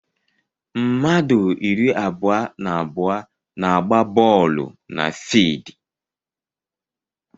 Mmadụ iri abụọ na abụọ na agba boolu na fidi